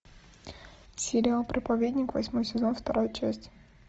сериал проповедник восьмой сезон вторая часть